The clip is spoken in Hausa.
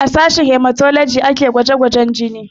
A sashen hematology ake gwaje gwajen jini